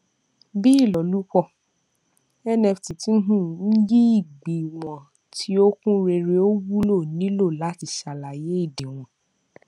bí ìlòlúpọ nft tí ń um yí ìgbéwòn tí ó kún réré ò wúlò nílò láti sàlàyé ìdíwọn